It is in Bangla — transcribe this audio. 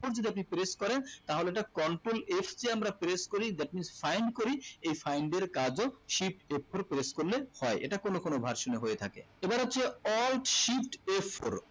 f four যদি আপনি press করেন তাহলে এটা control f কে আমরা press করি that means find করি এই find এর কাজও shift f four press করলে হয় এটা কোনো কোনো version এ হয়ে থাকে এবা হচ্ছে alt shift f four